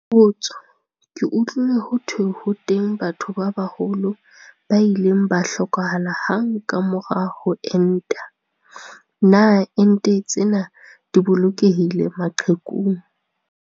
Potso- Ke utlwile ho thwe ho teng batho ba baholo ba ileng ba hlokahala hang ka mora ho enta. Na ente tsena di bolokehile maqhekung?